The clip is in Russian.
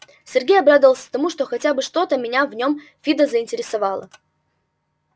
сергей обрадовался тому что хотя бы что-то меня в нём фидо заинтересовало